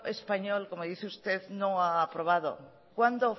español como dice usted no ha aprobado cuándo